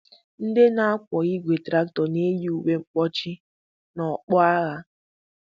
Ndị na-akwọ igwe traktọ na-eyi uwe mkpuchi na okpu agha.